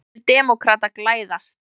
Vonir demókrata glæðast